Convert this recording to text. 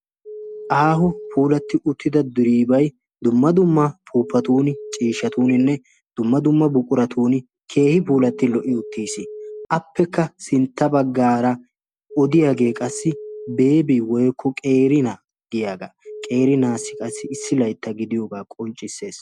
Aaho puulati uttida diribay dumma dumna puupatun, ciishshatuninne dumma dumma buquratun keehippe puulati lo"i uttiis. Appekka sintta baggaara odiyaage qassi Beebi woykko qeeri na giyaaga, qeeri naassi qassi issi laytta gidiyooga qonccissees.